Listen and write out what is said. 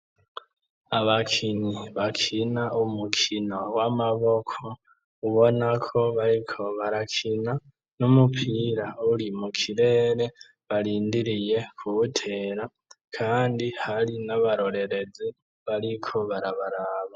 Abakinyi bakina umukino w'amaboko ubonako bariko barakina n'umupira uri mu kirere barindiriye kuwutera, kandi hari n'abarorerezi bariko barabaraba.